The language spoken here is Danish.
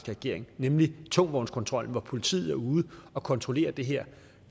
regering nemlig tungtvognskontrollen hvor politiet er ude og kontrollere det her